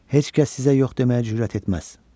Heç kəs sizə yox deməyə cürət etməz.